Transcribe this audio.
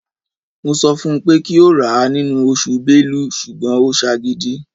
Mo sọ fun pé kí ó rà á nínú oṣù Bélú ṣùgbọ́n ó ṣe agídí.